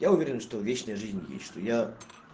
я уверен что вечная жизнь есть что я